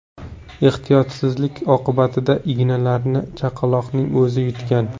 Ehtiyotsizlik oqibatida ignalarni chaqaloqning o‘zi yutgan.